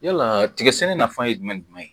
Yala tigɛ sɛnɛ nafa ye jumɛn ye?